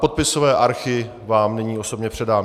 Podpisové archy vám nyní osobně předám.